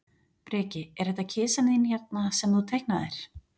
Breki: Er þetta kisan þín hérna, sem þú teiknaðir?